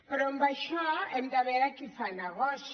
però amb això hem de veure qui fa negoci